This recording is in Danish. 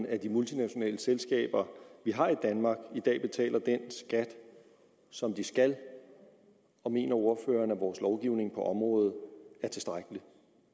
at de multinationale selskaber vi har i danmark i dag betaler den skat som de skal og mener ordføreren at vores lovgivning på området er tilstrækkelig